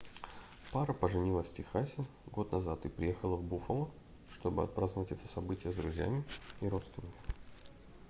пара поженилась в техасе год назад и приехала в буффало чтобы отпраздновать это событие с друзьями и родственниками